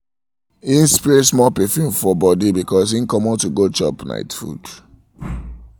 im spray small perfume for um body before im comot to go chop night um food